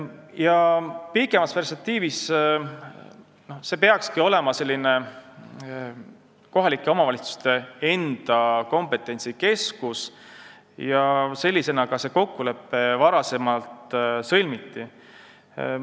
Kaugemas perspektiivis peakski see olema kohalike omavalitsuste enda kompetentsikeskus, sellisena on see kokkulepe ka sõlmitud.